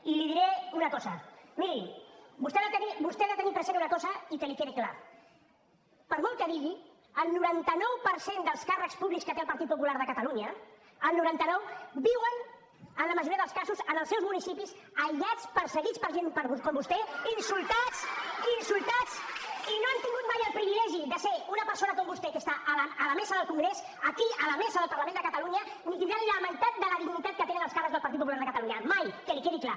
i li diré una cosa miri vostè ha de tenir present una cosa i que li quedi clar per molt que digui el noranta nou per cent dels càrrecs públics que té el partit popular de catalunya el noranta nou viuen en la majoria dels casos en els seus municipis aïllats perseguits per gent com vostè insultats i no han tingut mai el privilegi de ser una persona com vostè que està a la mesa del congrés aquí a la mesa del parlament de catalunya ni tindran la meitat de la dignitat que tenen els càrrecs del partit popular de catalunya mai que li quedi clar